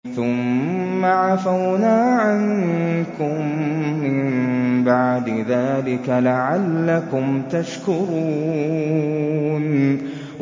ثُمَّ عَفَوْنَا عَنكُم مِّن بَعْدِ ذَٰلِكَ لَعَلَّكُمْ تَشْكُرُونَ